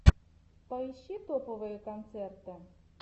поищи топовые концерты